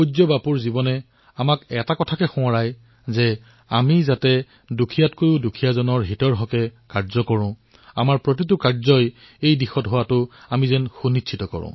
পূজ্য বাপুৰ জীৱনে আমাক এয়া স্মৰণ কৰায় যে আমাৰ কাৰ্যসমূহ এনে হব লাগে যত দৰিদ্ৰতম ব্যক্তিৰো যাতে কল্যাণ হয়